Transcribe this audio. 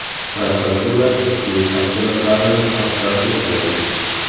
Prokuratura ishning tafsilotlarini oshkor etmagan.